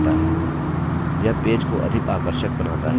यह पेज को अधिक आकर्षक बनाता है